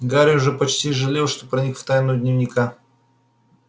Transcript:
гарри уже почти жалел что проник в тайну дневника